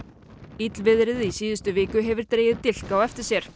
illviðrið í síðustu viku hefur dregið dilk á eftir sér